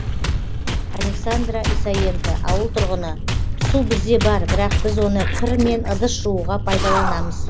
александра исаенко ауыл тұрғыны су бізде бар бірақ біз оны кір мен ыдыс жууға пайдаланамыз